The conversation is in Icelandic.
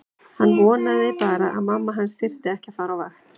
Hann vonaði bara að mamma hans þyrfti ekki að fara á vakt.